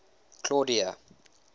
claudia